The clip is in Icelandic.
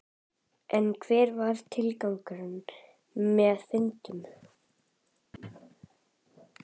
En hver er tilgangurinn með fundunum?